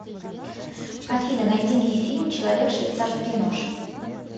афина найди мне фильм человек швейцарский нож